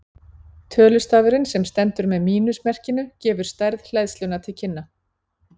Tölustafurinn sem stendur með mínus merkinu gefur stærð hleðslunnar til kynna.